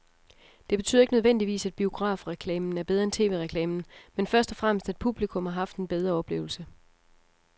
Det betyder ikke nødvendigvis, at biografreklamen er bedre end tv-reklamen, men først og fremmest at publikum har haft en bedre oplevelse.